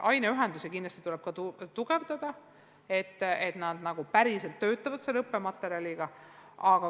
Aineühendusi tuleb kindlasti tugevdada, et nad päriselt töötaksid selle õppematerjaliga.